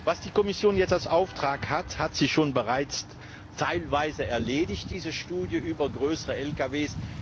Was die Kommission jetzt als Auftrag hat, hat sie teilweise bereits erledigt diese Studie über größere Lkw.